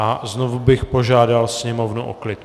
A znovu bych požádal sněmovnu o klid.